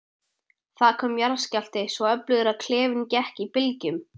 Það kom jarðskjálfti, svo öflugur að klefinn gekk í bylgjum.